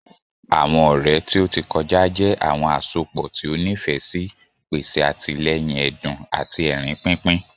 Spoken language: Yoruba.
Àwọn ọrẹ ti o ti kọja jẹ awọn asopọ ti o nifẹ si, pese atilẹyin ẹdun ati ẹrin pinpin.